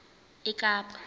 ekapa